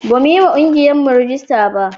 Bamu yi wa ƙungiyarmu rajista ba.